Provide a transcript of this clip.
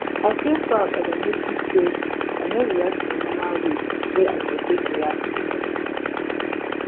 i feel proud as i notice say i no react the normal way wey i for take react before